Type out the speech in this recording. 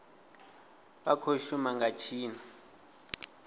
vha khou shuma nga tshino